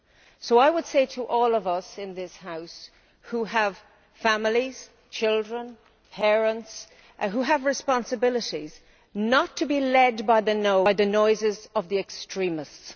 So I would say to all of us in this House who have families, children, parents and who have responsibilities do not to be led by the noises of the extremists.